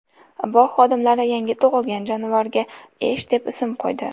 Bog‘ xodimlari yangi tug‘ilgan jonivorga Esh deb ism qo‘ydi.